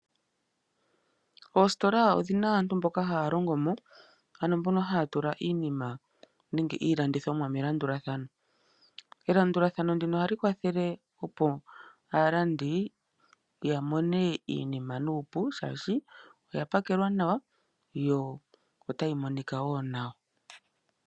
Iisitola odhina aantu mboka haya longo mo ,ano mbono haya tula iinima nenge iilandithomwa melandulathano. Elandulathano ndino ohali kwathele opo aalandi ya mone iinima nuupu shaashi oyapakelwa nawa yo otayi monika wo nawa.